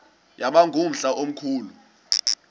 yaba ngumhla omkhulu